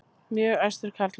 Mjög æstur karlmaður.